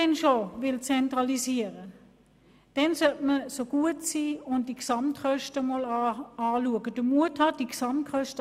Wenn man schon zentralisieren will, sollte man den Mut haben, die Gesamtkosten zu betrachten.